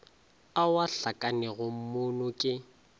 ao a hlakanego moono ke